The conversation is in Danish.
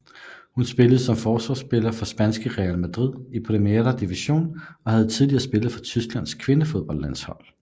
Hun spiller som forsvarsspiller for spanske Real Madrid i Primera División og har tidligere spillet for Tysklands kvindefodboldlandshold